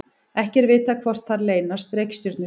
ekki er vitað hvort þar leynast reikistjörnur